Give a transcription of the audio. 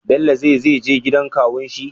Bello ze zeje gidan kawun shi?